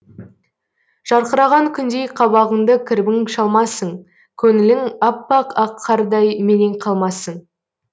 жарқыраған күндей қабағыңды кірбің шалмасын көңілің аппақ ақ қардай менен қалмасын